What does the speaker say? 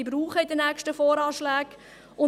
Es wird in den nächsten VA weitere benötigen.